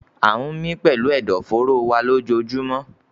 We breathe with our lungs everyday